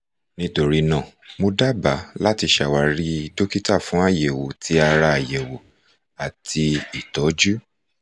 nitorinaa mo daba lati ṣawari dokita fun ayẹwo ti ara ayẹwo ati itọju